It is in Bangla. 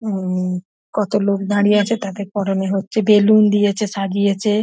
হুম হুম কত লোক দাঁড়িয়ে আছে তাদের পড়নে হচ্ছে বেলুন দিয়েছে সাজিয়েছে।